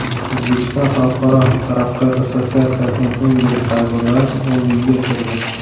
O‘zbekiston Xalqaro taraqqiyot assotsiatsiyasining eng yirik qarzdorlari o‘nligiga kirdi.